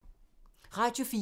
Radio 4